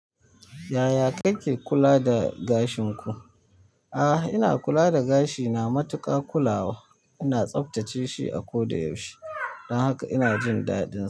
Yaya kake kula da gashin ku? A'a, ina kula da gashina matuƙa kulawa. Ina tsaftace shi a koda yaushe don haka ina jin daɗin.